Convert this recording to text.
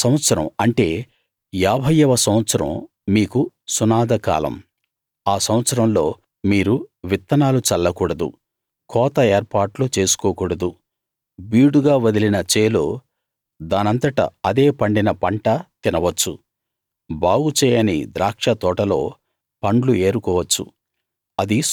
ఆ సంవత్సరం అంటే ఏభైయవ సంవత్సరం మీకు సునాద కాలం ఆ సంవత్సరంలో మీరు విత్తనాలు చల్ల కూడదు కోత ఏర్పాట్లు చేసుకోకూడదు బీడుగా వదిలిన చేలో దానంతట అదే పండిన పంట తినవచ్చు బాగు చేయని ద్రాక్ష తోటలో పండ్లు ఏరుకోవచ్చు